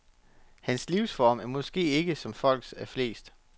Hans livsform er måske ikke som folks er flest.